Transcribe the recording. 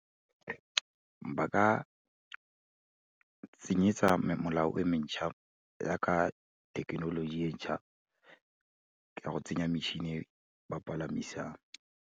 Ba ka tsenyetsa molao e mentšha, ya ka thekenoloji entšha, ka go tsenya metšhini e ba palamisang.